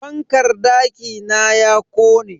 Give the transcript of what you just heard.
Fankar dakina ya kone.